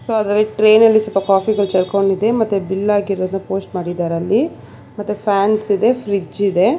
So ಅದರಲ್ಲಿ tray ನಲ್ಲಿ ಸ್ವಲ್ಪ ಕಾಫಿ ಗಳ ಚೆಲ್ಕೊಂಡಿದೆ ಮತ್ತೆ ಬಿಲ್ ಆಗಿರೋದು ಪೋಸ್ಟ್ ಮಾಡಿದಾರೆ ಅಲ್ಲಿ ಮತ್ತೆ ಫ್ಯಾನ್ಸ್ ಇದೆ ಫ್ರಿಡ್ಜ್ ಇದೆ.